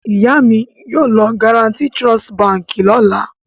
Ìyá mi yóò lọ Guaranty Trust Báńkì lọ́la.